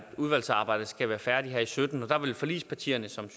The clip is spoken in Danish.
udvalgsarbejdet skal være færdigt her i sytten og der vil forligspartierne som